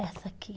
Essa aqui.